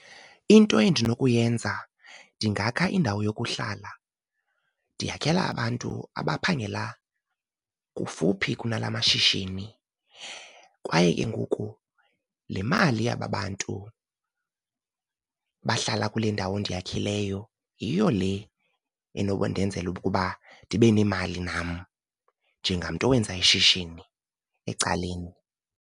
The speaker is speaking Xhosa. Into endinokuyenza ndingakha indawo yokuhlala ndiyakhela abantu abaphangela kufuphi kunala mashishini. Kwaye ke ngoku le mali yaba bantu bahlala kule ndawo ndiyakhileyo yiyo le enokundenzela ukuba ndibe nemali nam njengamntu owenza ishishini ecaleni.